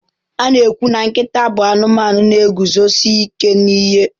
A na-ekwu na nkịta bụ anụmanụ na-eguzosi ike n'ihe.